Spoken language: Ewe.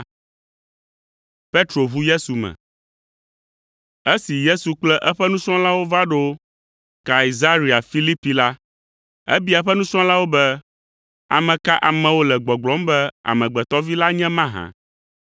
Esi Yesu kple eƒe nusrɔ̃lawo va ɖo Kaisarea Filipi la, ebia eƒe nusrɔ̃lawo be, “Ame ka amewo le gbɔgblɔm be Amegbetɔ Vi la nye mahã?”